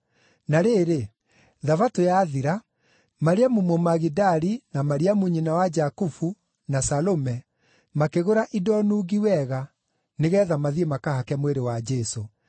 Na rĩrĩ, Thabatũ yathira, Mariamu Mũmagidali, na Mariamu nyina wa Jakubu, na Salome makĩgũra indo nungi wega nĩgeetha mathiĩ makahake mwĩrĩ wa Jesũ.